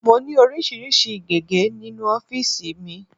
Mo ní oríṣiríṣi gege nínú ofiisi mi.